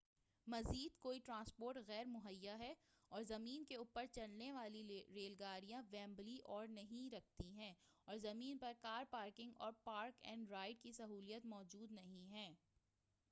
مزید کوئی ٹرانسپورٹ غیر مہیا ہے اور زمین کے اوپر چلنے والی ریل گاڑیاں ویمبلی پر نہیں رکتی ہیں اور زمین پر کار پارکنگ اور پارک اینڈ رائڈ کی سہولیات موجود نہیں ہیں